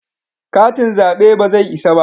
Katin zabe ba zai isa ba